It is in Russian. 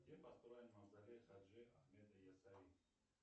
где построен мавзолей хаджи ахмеда есали